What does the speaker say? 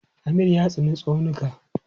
Amir ya tsani tsaunuka.